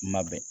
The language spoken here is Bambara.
Kuma bɛɛ